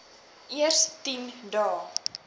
eers tien dae